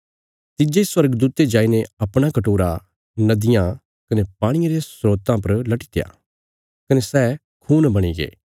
तिज्जे स्वर्गदूते जाईने अपणा कटोरा नदियाँ कने पाणिये रे स्रोतां पर लटीत्या कने सै खून बणिगे